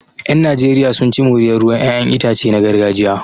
Yan Najeriya sun ci moriyar ruwan 'ya'yan itace na gargajiya